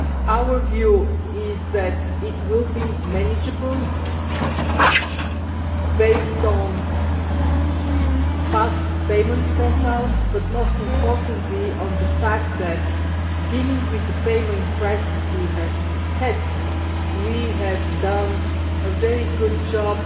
Our view is that it will be manageable, based on past payment profiles, but most importantly on the fact that, in dealing with the payment crisis we have had, together with Member States we have done a very good job